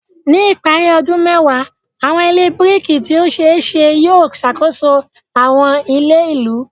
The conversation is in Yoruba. Ní ìparí ọdún mẹ́wàá, àwọn ilé biriki tí ó ṣe é ṣe yóò ṣàkóso àwọn ilẹ̀ ìlú.